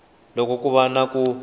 loko ku va na ku